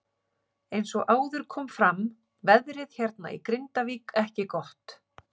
Eins og áður kom fram veðrið hérna í Grindavík ekki gott.